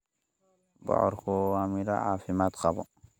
Bocorku waa midho caafimaad qaba.